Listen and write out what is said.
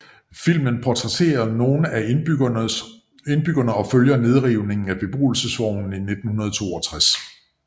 Filmen portrætterer nogle af indbyggerne og følger nedrivningen af beboelsesvognene i 1962